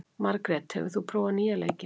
Margret, hefur þú prófað nýja leikinn?